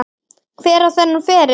Hver á þennan feril?